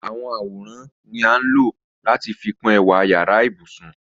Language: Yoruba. Àwọn àworan ni a ńlọ̀ lati fikun ẹ̀wà yara-íbusun.